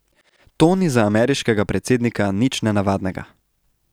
To ni za ameriškega predsednika nič nenavadnega.